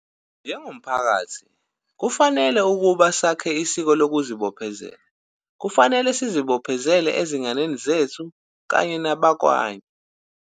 Njengomphakathi, kufanele ukuba sakhe isiko lokuzibophezela. Kufanele sizibophezele, ezinganeni zethu kanye nakwabanye.